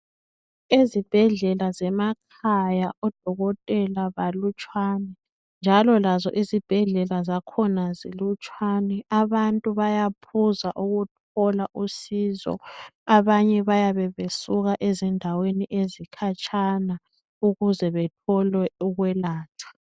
Ezibhedlela zemakhaya odokotela balutshwane njalo lazo izibhedlela zakhona zilutshwane abantu bayaphuza ukuthola usizo. Abanye bayabe besuka ezindaweni ezikhatshana ukuze bethole ukwelatshwa.